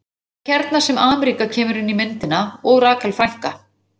Það er hérna sem Ameríka kemur inn í myndina og Rakel frænka.